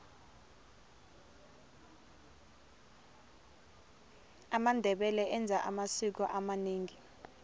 amandebele enza amasiko amanengi